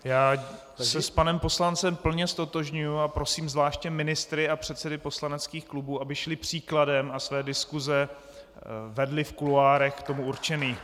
Já se s panem poslancem plně ztotožňuji a prosím zvláště ministry a předsedy poslaneckých klubů , aby šli příkladem a své diskuse vedli v kuloárech k tomu určených.